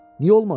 Niyə olmadı?